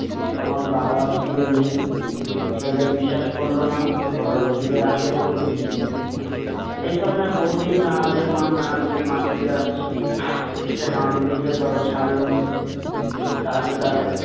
আমার বাবার খিদে নেই। ছেলে বিশ্বাস করল না। বলল, খিদে আছে বলছি। এ ছলনায় বহুদিন কাঙালির মা কাঙালিকে ফাঁকি দিয়ে আসছে। সে হাড়ি দেখিয়া তবে ছাড়ল। তাতে তার